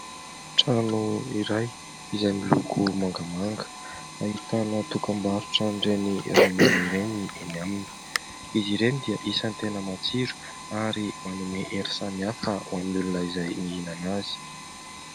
Trano iray izay miloko mangamanga ; ahitana dokam-barotra ireny ronono ireny eny aminy. Izy ireny dia isan'ny tena matsiro ary manome hery samy hafa ho an'ny olona izay mihinana azy.